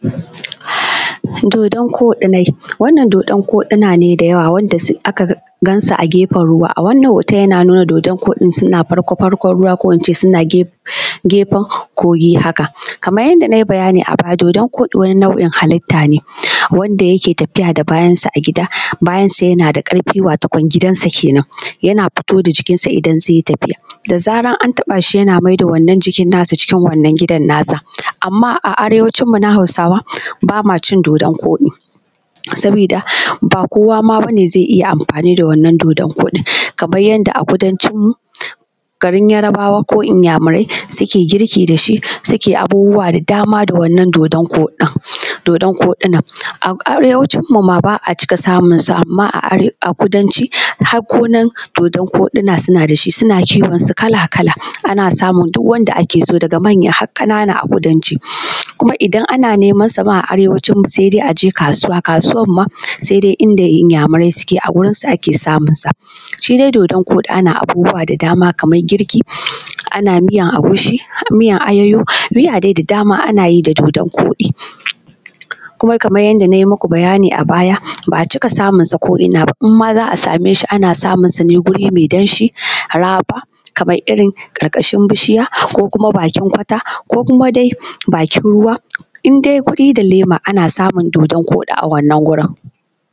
Do:don-koɗinai, wannan doodon-koɗina ne dayawa da aka gansu a gefen ruwa, a wannan hooton yana nuna doodon-koɗin suna farko-farkon ruwa ko ince suna gefen kogi haka. Kamar yanda nai bayani a baya doodon- koɗi wani nau’in halitta ne wanda yake tafiya da bayansa a gida bayansa yana da ƙarfi watokon gidansa kenan, yana fito da jikinsa idan zai yi tafiya da zaran an taɓaashi yana maida wannan jikin naasa cikin wannan gidan naasa. Amma a arewacinmu na hausawa baa maa ʧin doodon-koɗi sabiida baa kowa ma bane zai iya amfaani da wannan doodon-koɗin kamar yanda a kudancinmu garin yarbaawa ko inyaamurai suke girki da shi suke abubuwa da dama da wannan doodon-koɗinan, a arewacin mu maa baa a cika samunsu amma a kudanci har gonar doodon-koɗina suna da shi suna kiwonsu kala-kala, ana samun duk wanda ake so daga manya har ƙanana a kudanci, kuma idan ana nemansa maa a arewacinmu sai dai aje kaasuwa kaasuwan maa sai dai inda inyaamurai suke a wurinsu ake samunsa. shi dai doodon koɗi ana abubuwa da dama kamar girki, ana miyan agushi, miyan ayoyo miya dai da dama ana yi da doodon-koɗi. Kuma kaman yadda nayi maku bayani a baya ba a cika samunsa ko’ina ba in maa za a same su ana samunsu ne wuri mai danshi raɓa kamar irin ƙarƙashin bishiya ko kuma bakin kwata ko kuma dai bakin ruwa in dai wuri da leema ana samun doodon-koɗi a wannan wurin.